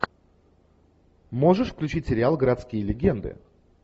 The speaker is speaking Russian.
можешь включить сериал городские легенды